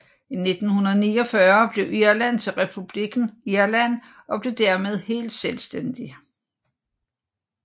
I 1949 blev Irland til republikken Irland og blev dermed helt selvstændig